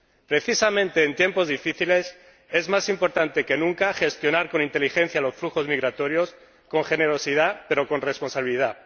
Precisamente en tiempos difíciles es más importante que nunca gestionar con inteligencia los flujos migratorios, con generosidad pero con responsabilidad.